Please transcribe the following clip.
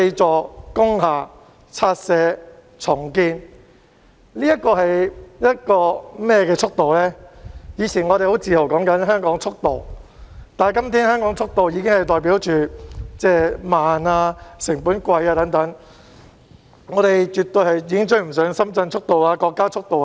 我們以往提及香港的速度時往往很自豪，但今天香港的速度已經代表慢、成本貴等，香港已經絕對追不上深圳、國家等的速度。